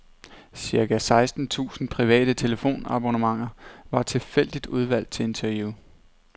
Cirka seksten tusind private telefonabonnenter var tilfældigt udvalgt til interview.